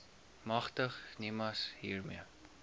magtig nimas hiermee